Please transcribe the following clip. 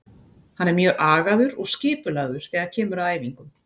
Hann er mjög agaður og skipulagður þegar kemur að æfingum.